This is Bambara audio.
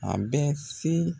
An bɛ se